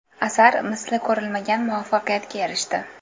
Asar misli ko‘rilmagan muvaffaqiyatga erishdi.